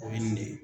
O ye nin de ye